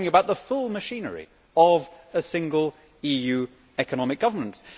We are talking about the full machinery of single EU economic governance.